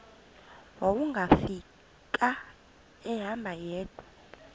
wawungafika ehamba yedwa